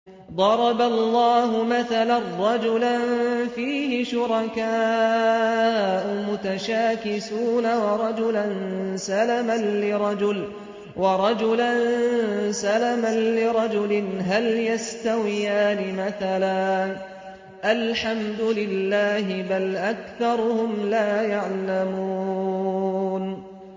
ضَرَبَ اللَّهُ مَثَلًا رَّجُلًا فِيهِ شُرَكَاءُ مُتَشَاكِسُونَ وَرَجُلًا سَلَمًا لِّرَجُلٍ هَلْ يَسْتَوِيَانِ مَثَلًا ۚ الْحَمْدُ لِلَّهِ ۚ بَلْ أَكْثَرُهُمْ لَا يَعْلَمُونَ